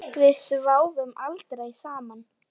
Við sváfum aldrei saman.